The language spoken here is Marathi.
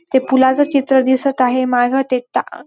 ते फुलाचे चित्र दिसत आहे माग ते ता --